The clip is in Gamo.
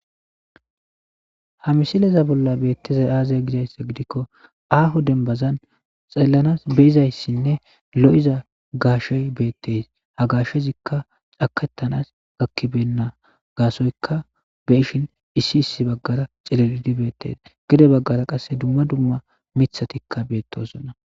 Ha misileza bolla beettezay aazay gizayssa gidikko aaho denbazan xellanas beizayssinne lo'iza gaashey beettes ha gaashezikka cakettanas gakkibenna gaasoyka be ishin issi issi baggara cilelidi beettes gede baggara qasse dumma dumma mithatikka beettosona.